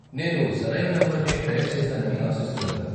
నేను సరైన నంబర్నే డయల్ చేసానని ఆశిస్తున్నాను.